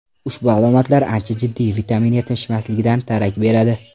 Ushbu alomatlar ancha jiddiy vitamin yetishmasligidan darak beradi.